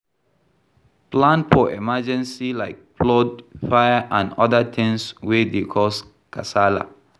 Plan for emergency like flood, fire and oda things wey dey cause kasala